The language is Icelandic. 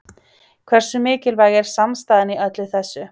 Hversu mikilvæg er samstaðan í öllu þessu?